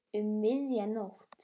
Um miðja nótt.